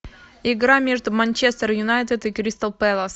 игра между манчестер юнайтед и кристал пэлас